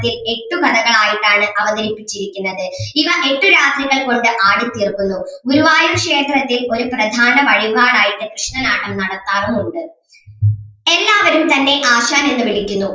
എട്ടു കഥകൾ ആയിട്ടാണ് അവതരിപ്പിച്ചിരിക്കുന്നത് ഇവ എട്ടു രാത്രികൾ കൊണ്ട് ആടി തീർക്കുന്നു ഗുരുവായൂർ ക്ഷേത്രത്തിൽ ഒരു പ്രധാന വഴിപാട് ആയിട്ട് കൃഷ്ണനാട്ടം നടത്താറുമുണ്ട്. എല്ലാവരും തന്നെ ആശാൻ എന്ന് വിളിക്കുന്നു